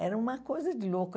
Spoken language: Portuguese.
Era uma coisa de louco.